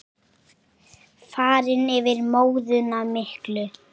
Farinn yfir móðuna miklu.